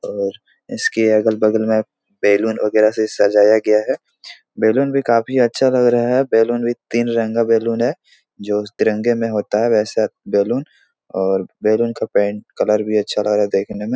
और इसके अगल-बगल में बैलून वगैरा से सजाया गया है बैलून भी काफी अच्छा लग रहा है बैलून भी तीन रंगा का बैलून है जो तिरंगे में होता है वैसे बैलून और बैलून का पेंट कलर भी अच्छा लग‌ रहा है देखने में।